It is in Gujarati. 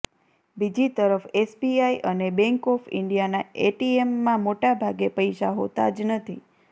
બીજી તરફ એસબીઆઇ અને બેંક ઓફ ઇન્ડિયાના એટીએમમાં મોટા ભાગે પૈસા હોતા જ નથી